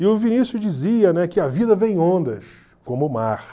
E o Vinícius dizia, né, que a vida vem em ondas, como o mar.